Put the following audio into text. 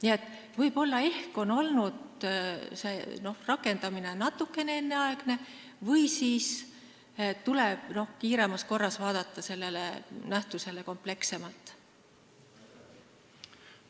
Nii et võib-olla on olnud see rakendamine natukene enneaegne või siis tuleb kiiremas korras hakata seda nähtust komplekssemalt vaatama.